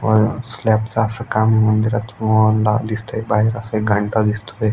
अ स्लॅपच अस काम मंदिरात दिसतंय बाहेर अस एक घंटा दिसतोय.